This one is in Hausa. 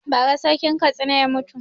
Ba ra Sarkin Katsina ya mutu